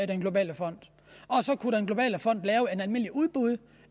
den globale fond og så kunne den globale fond lave et almindelig udbud